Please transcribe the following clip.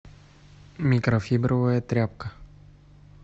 микрофибровая тряпка